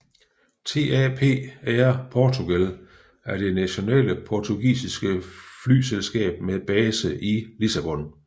TAP Air Portugal er det nationale portugisiske flyselskab med base i Lissabon